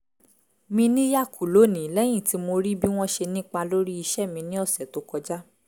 mi níyà kù lónìí lẹ́yìn tí mo rí bí wọ́n ṣe nípa lórí iṣẹ́ mi ní ọ̀sẹ̀ tó kọjá